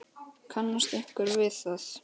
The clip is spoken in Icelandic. Kannast einhver við það?